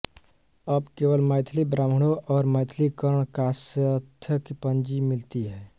अब केवल मैथिल ब्राह्मणों और मैथिल कर्ण कायस्थ की पंजी मिलती है